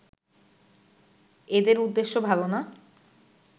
এদের উদ্দেশ্য ভালো না